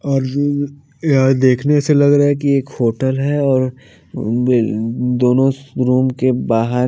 और जो यहां देखने से लग रहा है कि एक होटल है और दोनों रूम के बाहर--